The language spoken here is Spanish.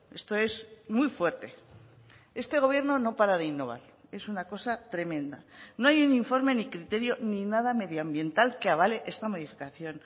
esto es muy fuerte este gobierno no para de innovar es una cosa tremenda no hay un informe ni criterio ni nada medioambiental que avale esta modificación